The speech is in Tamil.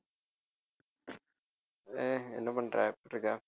ஏய் என்ன பண்ற எப்படி இருக்க